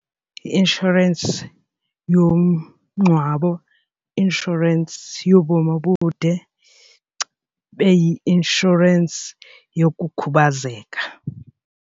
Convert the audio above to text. I-inshorensi yomngcwabo, inshorensi yobomi obude ibe yinshorensi yokukhubazeka.